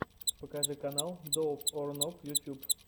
покажи канал доуп ор ноуп ютуб